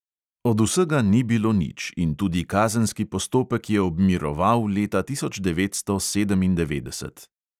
Od vsega ni bilo nič in tudi kazenski postopek je obmiroval leta tisoč devetsto sedemindevetdeset.